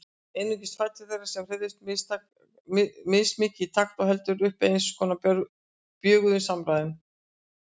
Einungis fætur þeirra, sem hreyfðust mismikið í takt, héldu uppi eins konar bjöguðum samræðum.